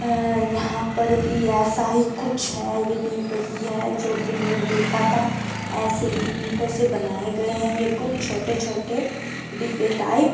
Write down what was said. यहाँ पर भी ऐसा ही कुछ है ये भी वही हैं जो भी हमने देखा था ऐसे ही ईटों से बनाये गये हैं ये कुछ छोटे छोटे डिब्बे टाइप ।